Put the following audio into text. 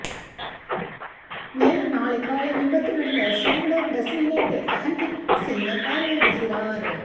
மேலும் நாளை காலை விபத்து நடந்த சோமனூர் பஸ் நிலையத்தை ககன்தீப் சிங் பார்வையிடுகிறார்